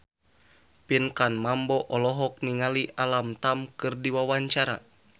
Pinkan Mambo olohok ningali Alam Tam keur diwawancara